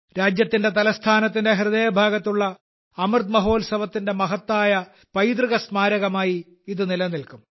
രാജ്യത്തിന്റെ തലസ്ഥാനത്തിന്റെ ഹൃദയഭാഗത്തുള്ള അമൃത് മഹോത്സവത്തിന്റെ മഹത്തായ പൈതൃകസ്മാരകമായി ഇത് നിലനിൽക്കും